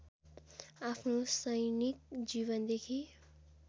आफ्नो सैनिक जीवनदेखि